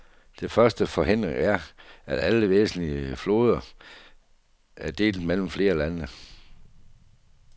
Den første forhindring er, at alle væsentlige floder er delt mellem flere lande.